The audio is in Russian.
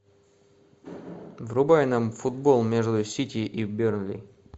врубай нам футбол между сити и бернли